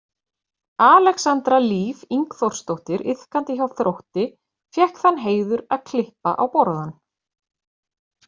Alexandra Líf Ingþórsdóttir iðkandi hjá Þrótti fékk þann heiður að klippa á borðann.